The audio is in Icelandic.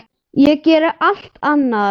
Ég geri allt annað.